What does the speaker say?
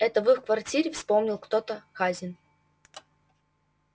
это в их квартире вспомнил кто-то хазин